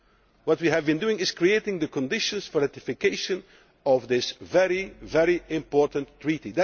What we have been doing is creating the conditions for ratification of this very, very important treaty.